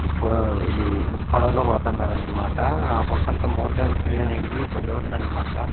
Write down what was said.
టిప్పుగా ఇది ఒ పడవలో పోతండారన్మాట ఆ పక్కంతా మౌంటెన్ చూసేదానికి వ్యూ భలే ఉందన్మాట.